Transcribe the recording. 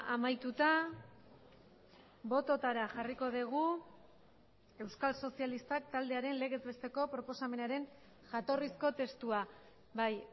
amaituta bototara jarriko dugu euskal sozialistak taldearen legez besteko proposamenaren jatorrizko testua bai